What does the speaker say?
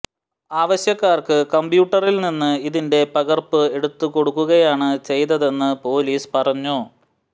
ആവശ്യക്കാര്ക്ക് കമ്പ്യൂട്ടറില് നിന്ന് ഇതിന്റെ പകര്പ്പ് എടുത്തു കൊടുക്കുകയാണ് ചെയ്തതെന്ന് പൊലീസ് പറഞ്ഞു